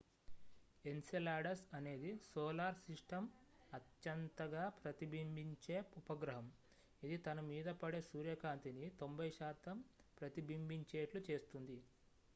Enceladus అనేది solar system అత్యంతగా ప్రతిబింబించే ఉపగ్రహం ఇది తన మీద పడే సూర్యకాంతిని 90 శాతం ప్రతిబింబించేట్లు చేస్తుంది